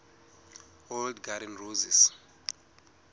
old garden roses